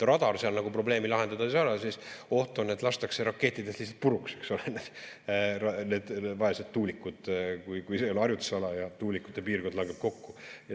Radar seal nagu probleemi lahendada ei saa, sest oht on, et lihtsalt lastakse rakettidega puruks need vaesed tuulikud, kui harjutusala ja tuulikute piirkond langeb kokku.